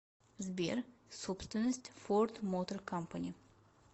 сбер собственность форд мотор кампани